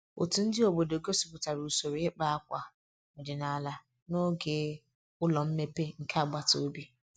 Otu ndị obodo gosipụtara usoro ịkpa akwa ọdịnala n'oge ụlọ mmepe nke agbata obi